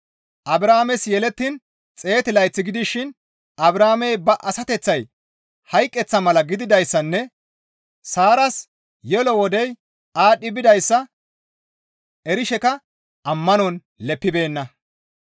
Abrahaames yelettiin 100 layth gidishin Abrahaamey ba asateththay hayqeththa mala gididayssanne Saaras yelo wodey aadhdhi bidayssa erishekka ammanon leppibeenna.